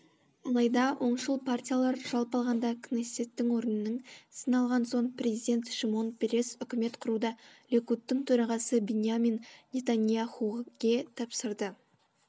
алайда оңшыл партиялар жалпы алғанда кнессеттің орынының сін алған соң президент шимон перес үкімет құруды ликудтың төрағасы биньямин нетанияхуге тапсырды